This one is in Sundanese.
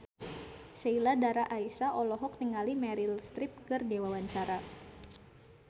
Sheila Dara Aisha olohok ningali Meryl Streep keur diwawancara